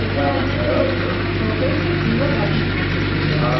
ଆଂଜ୍ଞା ଆମେ ୨୭ ଟା କୁଣ୍ଡ ଗାଧେଇଥିଲୁ ସେନ ପୁରା